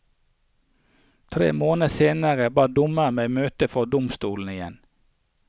Tre måneder senere ba dommeren meg møte for domstolen igjen.